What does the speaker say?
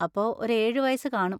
അപ്പൊ ഒരു ഏഴ് വയസ്സ് കാണും.